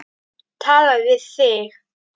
Tala við þig.